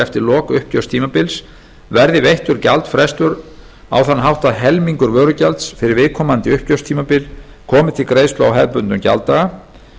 eftir lok uppgjörstímabils verði veittur gjaldfrestur á þann hátt að helmingur vörugjalds fyrir viðkomandi uppgjörstímabil komi til greiðslu á hefðbundnum gjalddaga